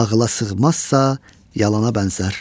ağıla sığmazsa, yalana bənzər.